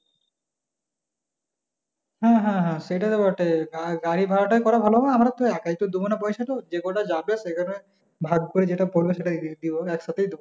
হ্যাঁ হ্যাঁ হ্যাঁ সেটা তো বটেই গাড়ি ভাড়া টা করাই ভালো হবে আমার তো একাই তো দেবো না পয়সা টা যে কটা যাবে সেখানে ভাগ করে যেটা পড়বে সেটাই দিব একসাথেই দিব